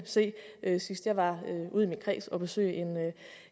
se sidst jeg var ude i min kreds og besøge